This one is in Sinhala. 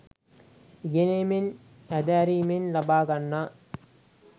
ඉගෙනීමෙන්, හැදෑරීමෙන් ලබා ගන්නා